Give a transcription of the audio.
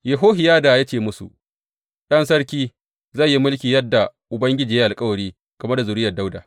Yehohiyada ya ce musu, Ɗan sarki zai yi mulki yadda Ubangiji ya yi alkawari game da zuriyar Dawuda.